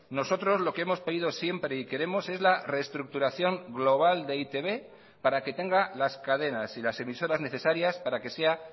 nosotros lo que hemos pedido siempre y queremos es la reestructuración global de e i te be para que tenga las cadenas y las emisoras necesarias para que sea